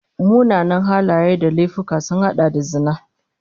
Munanan halaye da laifuka sun hada da zina